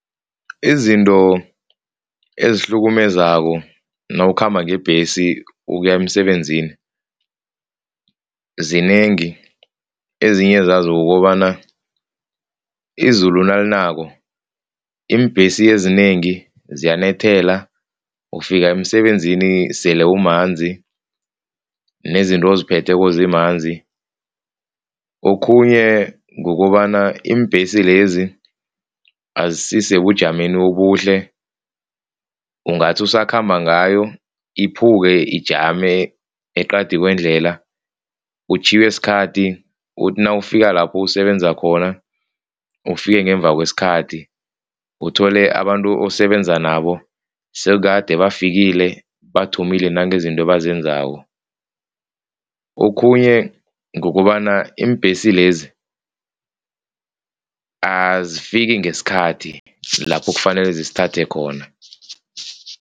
Izinto ezihlukumezako nawukhamba ngebhesi ukuya emsebenzini zinengi, ezinye zazo kukobana izulu nalinako iimbhesi ezinengi ziyanethela, ufika emisebenzini sele umanzi, nezinto oziphetheke zimanzi. Okhunye kukobana iimbhesi lezi azisisebujameni obuhle, ungathi usakhamba ngayo ikhuphuke ijame eqadi kwendlela, utjhiywe sikhathi uthi nawufika lapho usebenza khona, ufike ngemva kwesikhathi, uthole abantu osebenza nabo sekukade bafikile bathomile nange izinto azenzako. Okhunye kukobana iimbhesi lezi azifiki ngesikhathi lapho kufanele zisithathe khona.